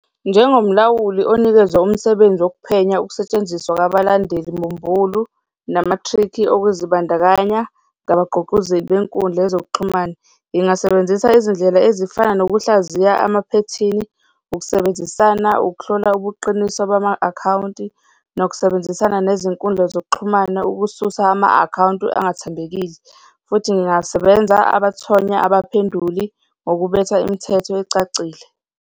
Njengomlawuli onikezwe umsebenzi wokuphenya ukusetshenziswa kwabalandeli mbumbulu nama-trick-i okuzibandakanya ngabagqugquzeli benkundla yezokuxhumana, ngingasebenzisa izindlela ezifana nokuhlaziya amaphethini, ukusebenzisana ukuhlola ubuqiniso bama-akhawunti, nokusebenzisana nezinkundla zokuxhumana ukususa ama-akhawunti angathembekile futhi ngingasebenza abathonya abaphenduli ngokubetha imithetho ecacile.